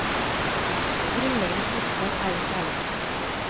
Det grunnleggende budskap er jo kjærlighet.